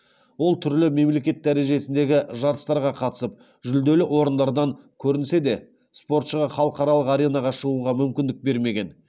ол түрлі мемлекет дәрежесіндегі жарыстарға қатысып жүлделі орындардан көрінсе де спортшыға халықаралық аренаға шығуға мүмкіндік бермеген